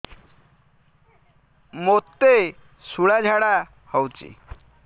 ମୋତେ ଶୂଳା ଝାଡ଼ା ହଉଚି